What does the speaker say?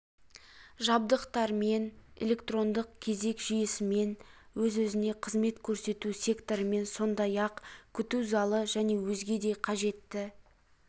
жабдықтармен электрондық кезек жүйесімен өз-өзіне қызмет көрсету секторымен сондай-ақ күту залы және өзге де қажетті